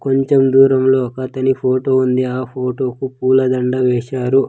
కొంచెం దూరంలో ఒకతని ఫోటో ఉంది ఆ ఫోటో కు పూలదండ వేశారు.